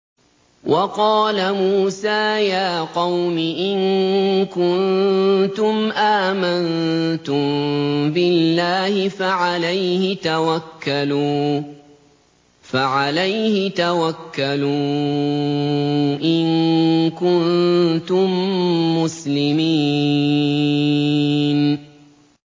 وَقَالَ مُوسَىٰ يَا قَوْمِ إِن كُنتُمْ آمَنتُم بِاللَّهِ فَعَلَيْهِ تَوَكَّلُوا إِن كُنتُم مُّسْلِمِينَ